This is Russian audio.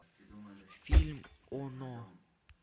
фильм оно